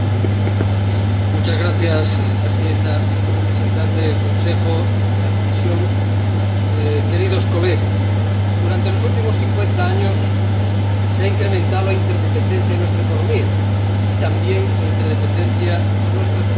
Señora Presidenta, señores representantes del Consejo y de la Comisión, queridos colegas, durante los últimos cincuenta años se ha incrementado la interdependencia de nuestra economía y también la interdependencia de nuestras políticas económicas.